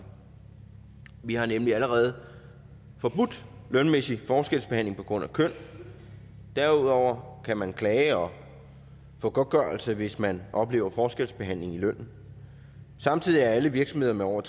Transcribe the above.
vi har nemlig allerede forbudt lønmæssig forskelsbehandling på grund af køn derudover kan man klage og få godtgørelse hvis man oplever forskelsbehandling i lønnen samtidig er alle virksomheder med over